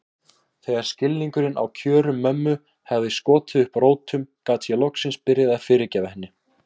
Þegar skilningurinn á kjörum mömmu hafði skotið rótum gat ég loksins byrjað að fyrirgefa henni.